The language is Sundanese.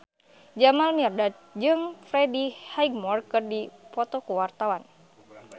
Jamal Mirdad jeung Freddie Highmore keur dipoto ku wartawan